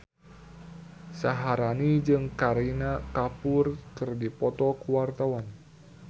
Syaharani jeung Kareena Kapoor keur dipoto ku wartawan